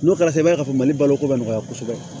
N'o kɛra i b'a ye k'a fɔ mali balo ko ka nɔgɔya kosɛbɛ